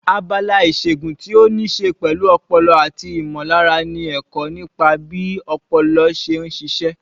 Abala ìṣègun tí ó ní í ṣe pẹ̀lú ọpọlọ àti ìmọ̀lára ni ẹ̀kọ́ nípa bí ọpọlọ ṣe ń ṣiṣẹ́.